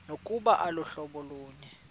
nokuba aluhlobo lunye